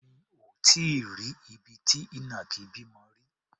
Mi ò tí í rí ibi tí ìnàkí bímọ rí.